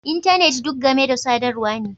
Intanet duk game da sadarwa ne